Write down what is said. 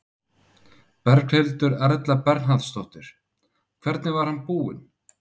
Berghildur Erla Bernharðsdóttir: Hvernig var hann búinn?